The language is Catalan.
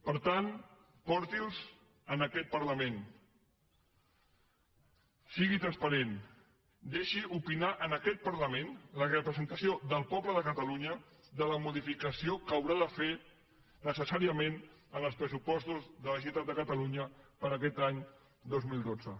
per tant porti’ls en aquest parlament sigui transparent deixi opinar aquest parlament la representació del poble de catalunya de la modificació que haurà de fer necessàriament en els pressupostos de la generalitat de catalunya per aquest any dos mil dotze